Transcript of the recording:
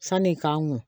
Sani n k'an kun